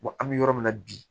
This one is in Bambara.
an bɛ yɔrɔ min na bi